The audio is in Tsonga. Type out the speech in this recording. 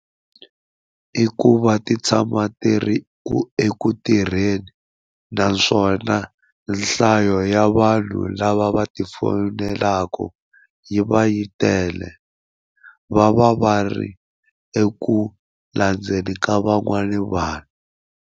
I ku va ti tshama ti ri ku eku tirheni naswona nhlayo ya vanhu lava va ti fonelaka yi va yi tele va va va ri eku landzeni ka van'wani vanhu.